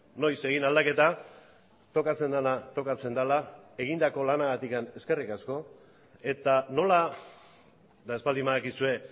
noiz egin aldaketa tokatzen dena tokatzen dela egindako lanagatik eskerrik asko eta nola eta ez baldin badakizue